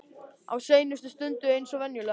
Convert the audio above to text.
Á seinustu stundu eins og venjulega.